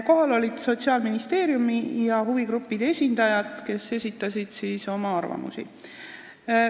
Kohal olid Sotsiaalministeeriumi ja huvigruppide esindajad, kes esitasid oma arvamusi.